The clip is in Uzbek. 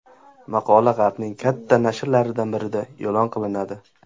Maqola g‘arbning katta nashrlaridan birida e’lon qilinadi.